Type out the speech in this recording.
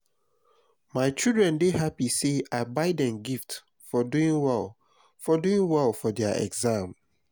my children dey happy say i buy dem gift for doing well for doing well for their exam